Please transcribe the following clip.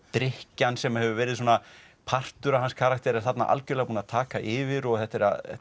drykkjan sem hefur verið svona partur af hans karakter er þarna algjörlega búin að taka yfir og þetta